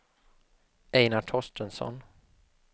Einar Torstensson